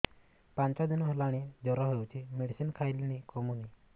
ପାଞ୍ଚ ଦିନ ହେଲାଣି ଜର ହଉଚି ମେଡିସିନ ଖାଇଲିଣି କମୁନି